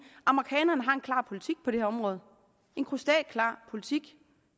at amerikanerne har en klar politik på det her område en krystalklar politik